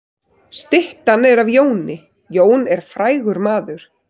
Styttan er af Jóni. Jón er frægur maður.